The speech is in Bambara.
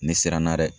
Ni siranna dɛ